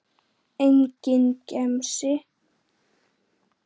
Enginn gemsi.